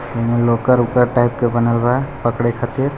लोकर वाकर टायप का बना हुआ है पकरे खातिर।